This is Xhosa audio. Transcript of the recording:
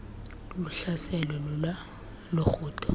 luhlaselwe lula lurhudo